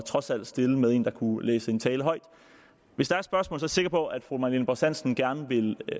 trods alt at stille med en der kunne læse en tale højt hvis der er spørgsmål er jeg sikker på at fru marlene borst hansen gerne vil